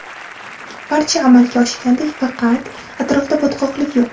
Barchasi amalga oshgandek, faqat yaqin atrofda botqoqlik yo‘q.